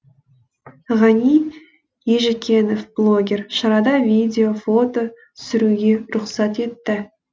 ғани ежікенов блогер шарада видео фото түсіруге рұқсат етті